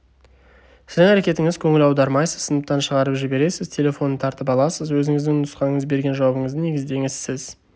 сіздің әрекетіңіз көңіл аудармайсыз сыныптан шығарып жібересіз телефонын тартып аласыз өзіңіздің нұсқаңыз берген жауабыңызды негіздеңіз сіз